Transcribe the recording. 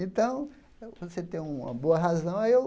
Então, quando você tem uma boa razão. Aí eu